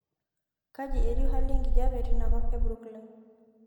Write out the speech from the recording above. kai etiu hali enkijape tinakop ee brooklyn